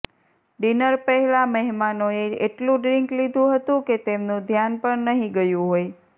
dinner પહેલા મહેમાનોએ એટલું ડ્રિન્ક લીધું હતું કે તેમનું ધ્યાન પણ નહીં ગયું હોય